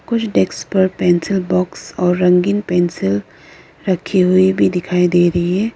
कुछ डेस्क पर pencil box और रंगीन पेंसिल रखी हुई भी दिखाई दे रही है।